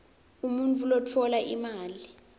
umuntfu lotfola imali